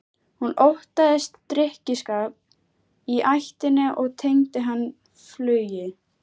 Hún óttaðist drykkjuskap í ættinni og tengdi hann flugi.